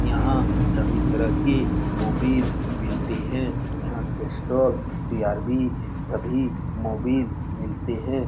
यहाँ सभी तरह की मोबिल मिलते है। यहाँ के स्टोर सी.र.ब. सभी मोबिल मिलते है।